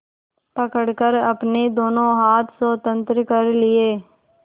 पकड़कर अपने दोनों हाथ स्वतंत्र कर लिए